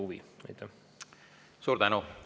Suur tänu!